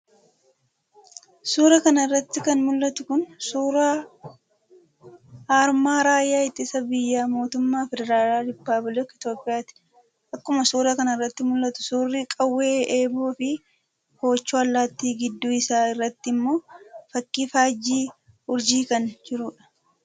Suura kana irratti kan mul'atu kun suura aarmaa Raayyaa Ittisa biyyaa mootummaa federaala rippuplika Itoophiyaati. Akkuma suura kana irratti mul'atu suurri qawwee, Eeboo fi koochoo allaatti, gidduu isaa irratti immoo fakii faajjii urjii kan jirudha.